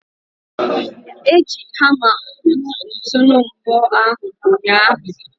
Eji hamma kpụrụ ntunu mbọ ahụ ụnyahụ.